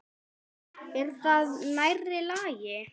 Er það nærri lagi?